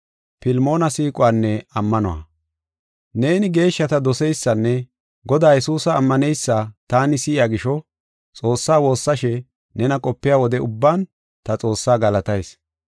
Neeni geeshshata doseysanne Godaa Yesuusa ammaneysa taani si7iya gisho, Xoossaa woossashe nena qopiya wode ubban ta Xoossaa galatayis.